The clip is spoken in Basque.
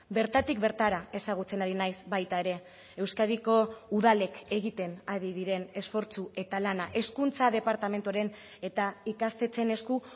bertatik bertara ezagutzen ari naiz baita ere euskadiko udalek egiten ari diren esfortzu eta lana hezkuntza departamentuaren eta ikastetxeen esku